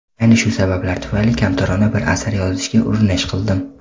Ayni shu sabablar tufayli kamtarona bir asar yozishga urinish qildim.